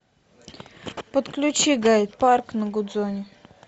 подключи гайд парк на гудзоне